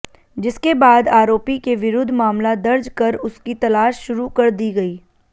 जिसके बाद आरोपी के विरुद्ध मामला दर्ज कर उसकी तलाश शुरू कर दी गई